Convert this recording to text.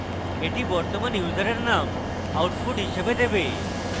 এটি বর্তমান ইউসারের name output হিসাবে দেবে